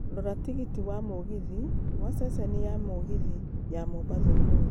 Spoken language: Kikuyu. rora tigiti wa mũgithi wa ceceni ya mũgithi ya mombatha ũmũthĩ